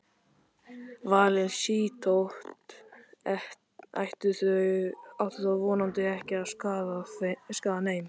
Valin sítöt ættu þó vonandi ekki að skaða neinn.